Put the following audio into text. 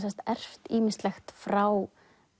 erft ýmislegt frá